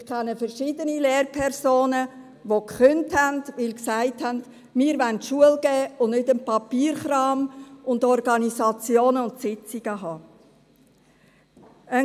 Ich kenne verschiedene Lehrpersonen, die gekündigt haben, weil sie sagten, sie wollten unterrichten und keinen Papierkram zu erledigen und Sitzungen abzuhalten haben.